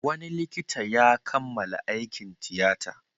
Wani likita ya kammala aikin tiyata.